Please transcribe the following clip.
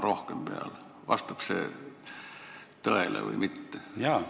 Kas see vastab tõele või mitte?